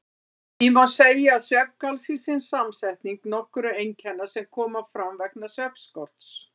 Því má segja að svefngalsi sé samsetning nokkurra einkenna sem koma fram vegna svefnskorts.